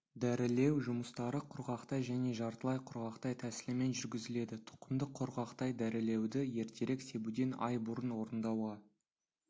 дәрілеу жұмыстары құрғақтай және жартылай құрғақтай тәсілімен жүргізіледі тұқымды құрғақтай дәрілеуді ертерек себуден ай бұрын орындауға